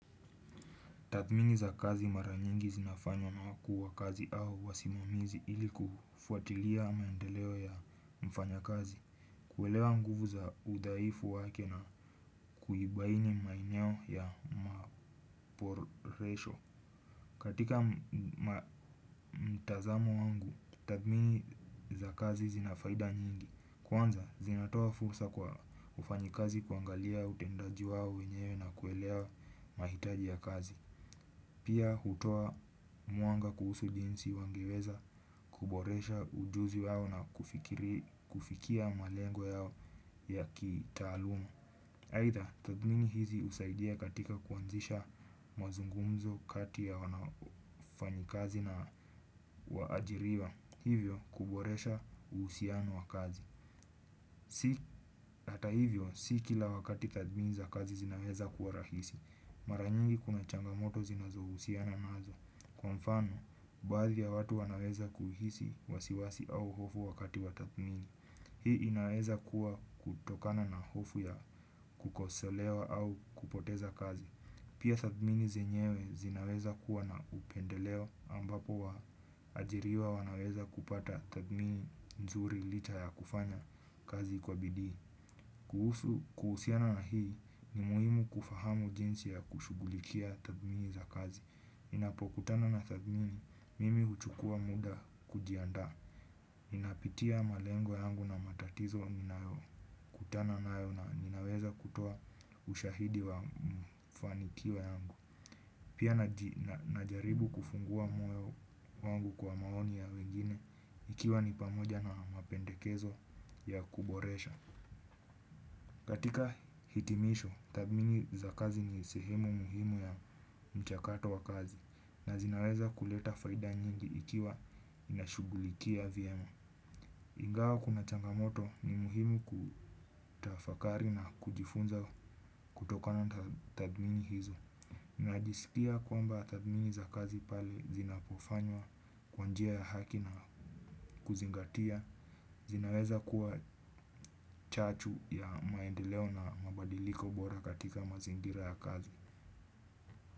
Tathmini za kazi mara nyingi zinafanywa na wakuu wa kazi au wasimamizi ili kufuatilia maendeleo ya mfanyakazi. Kuelewa nguvu za udhaifu wake na kuibaini maeneo ya maboresho. Katika mtazamo wangu, tathmini za kazi zina faida nyingi. Kwanza, zinatoa fursa kwa wafanyikazi kuangalia utendaji wao wenyewe na kuelewa mahitaji ya kazi. Pia hutoa mwanga kuhusu jinsi wangeweza, kuboresha ujuzi wao na kufikia malengo yao ya kitaaluma aidha, tathmini hizi husaidia katika kuanzisha mazungumzo kati ya wafanyikazi na waajiriwa. Hivyo, kuboresha uhusiano wa kazi. Hata hivyo, si kila wakati tathmini za kazi zinaweza kuwa rahisi. Mara nyingi kuna changamoto zinazo husiana nazo. Kwa mfano, baadhi ya watu wanaweza kuhisi wasiwasi au hofu wakati wa tathmini. Hii inaweza kuwa kutokana na hofu ya kukosolewa au kupoteza kazi. Pia tathmini zenyewe zinaweza kuwa na upendeleo ambapo waajiriwa wanaweza kupata tathmini nzuri licha ya kufanya kazi kwa bidii. Kuhusiana na hii ni muhimu kufahamu jinsi ya kushughulikia tathmini za kazi. Ninapokutana na tathmini, mimi huchukua muda kujiandaa. Ninapitia malengo yangu na matatizo ninayokutana nayo na ninaweza kutoa ushahidi wa mfanikiwa yangu. Pia najaribu kufungua moyo wangu kwa maoni ya wengine, ikiwa ni pamoja na mapendekezo ya kuboresha. Katika hitimisho, tathmini za kazi ni sehemu muhimu ya mchakato wa kazi. Na zinaweza kuleta faida nyingi ikiwa inashughulikia vyema ingawa kuna changamoto ni muhimu kutafakari na kujifunza kutokana tathmini hizo. Najisikia kwamba tathmini za kazi pale zinapofanywa kwa njia ya haki na kuzingatia zinaweza kuwa chachu ya maendeleo na mabadiliko bora katika mazingira ya kazi.